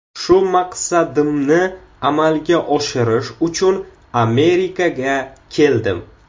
Shu maqsadimni amalga oshirish uchun Amerikaga keldim.